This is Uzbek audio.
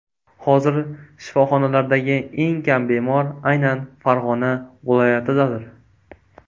Hozir shifoxonalardagi eng kam bemor aynan Farg‘ona viloyatidadir.